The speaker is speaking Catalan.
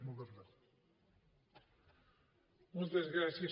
moltes gràcies